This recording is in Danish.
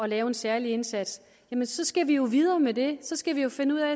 lave en særlig indsats jamen så skal vi jo videre med det så skal vi jo finde ud af